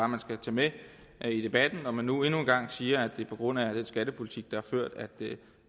man skal tage med i debatten når man nu endnu en gang siger at det er på grund af den skattepolitik der er ført at det